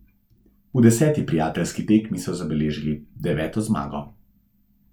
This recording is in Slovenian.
V deseti prijateljski tekmi so zabeležili deveto zmago.